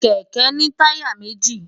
kẹ̀kẹ́ ní táyà méji